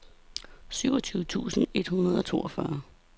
syvogtyve tusind et hundrede og toogfyrre